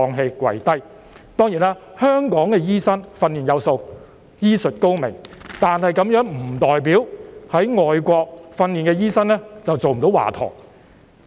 香港的醫生當然是訓練有素、醫術高明，但這並不代表在外國受訓的醫生便做不到華佗。